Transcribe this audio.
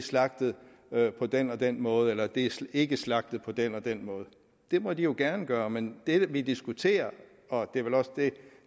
slagtet på den og den måde eller det er ikke slagtet på den og den måde det må de jo gerne gøre men det vi diskuterer og det er vel også det